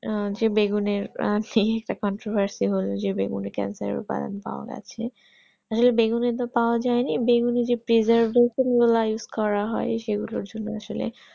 আহ যে বেগুনের যে contoversy বলতে বেগুনের cancer এর উপাদান পাওয়া গেছে বেগুনে তো পাওয়া যাইনি বেগুনে যে pleasure সেগুলোর জন্য আসলে